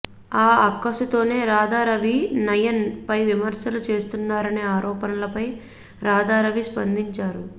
ఆ అక్కసుతోనే రాధారవి నయన్ పై విమర్శలు చేస్తున్నారనే ఆరోపణలపై రాధారవి స్పందించారు